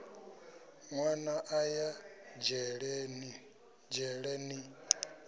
nwana a ya dzhele ni